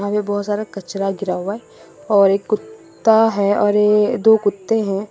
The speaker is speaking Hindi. ये बहुत सारा कचरा गिरा हुआ है और एक कुत्ता है और ये दो कुत्ते हैं।